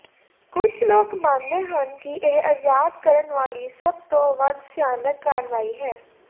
ਕੁਝ ਲੋਕ ਮੰਨਦੇ ਹਨ ਕਿ ਇਹ ਆਜ਼ਾਦ ਕਰਨ ਵਾਲੀ ਸਭ ਤੋਂ ਵੱਧ ਸਿਆਨਕ ਕਾਰਵਾਈ ਹੈ